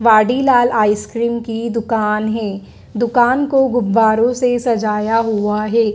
Vadilal ice cream की दुकान है। दुकान को गुब्बारों से सजाया हुआ है।